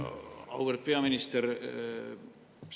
Auväärt peaminister!